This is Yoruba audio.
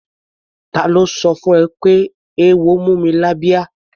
Ta ló sọ fún ẹ pé eéwo mú mi lábíá?